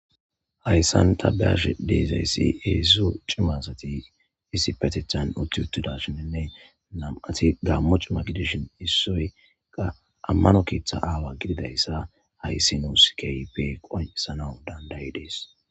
Hayisan ta be'ashe dizayis hezu cima asati uti utidashnee na'ati gamo cima gidishin issoy qa amano ketha awa gididaysa hays nus kehipe qonicisanaw danda'ides